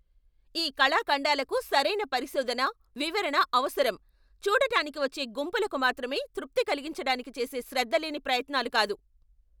ఈ కళాఖండాలకు సరైన పరిశోధన, వివరణ అవసరం, చూడటానికి వచ్చే గుంపులకు మాత్రమే తృప్తి కలిగించటానికి చేసే శ్రద్ధలేని ప్రయత్నాలు కాదు.